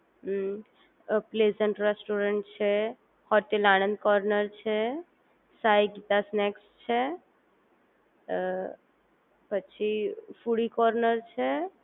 ઉમ્મ uh present restaurant છે hotel Anand corner છે, Saigeet snacks છે અ પછી ફૂડી કોર્નર છે